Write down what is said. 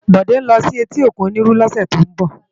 Bode n lò si éti ókún Oniru lòsè tó n bò